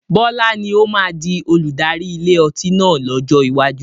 Bọlá ni ó máa di olùdarí ilé ọtí náà lọ́jọ́ iwájú